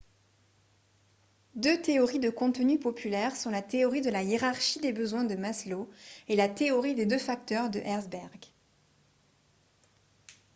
deux théories de contenu populaires sont la théorie de la hiérarchie des besoins de maslow et la théorie des deux facteurs de herzberg